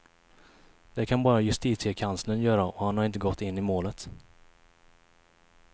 Det kan bara justitiekanslern göra och han har inte gått in i målet.